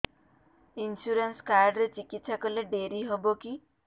insurance card ରେ ଚିକିତ୍ସା କଲେ ଡେରି ହବକି